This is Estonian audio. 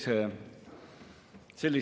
Järgnevalt palun Riigikogu kõnetooli Ants Froschi.